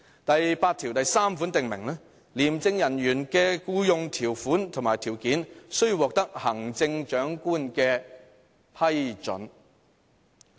"第83條訂明："廉署人員的僱用條款及條件，須獲得行政長官批准"。